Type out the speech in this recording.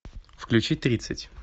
включи тридцать